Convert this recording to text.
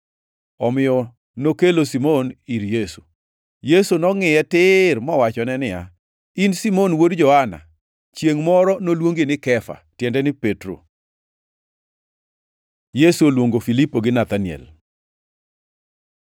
Omiyo nokelo Simon ir Yesu. Yesu nongʼiye tir mowachone niya, “In Simon wuod Johana, chiengʼ moro noluongi ni Kefa” (tiende ni Petro + 1:42 Kefa en dho jo-Arama, to Petro en dho jo-Yunani, giduto tiende ni Lwanda.). Yesu oluongo Filipo gi Nathaniel